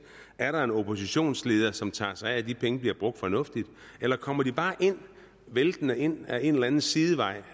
er der en oppositionsleder som tager sig af at de penge bliver brugt fornuftigt eller kommer de bare væltende ind ad en eller anden sidevej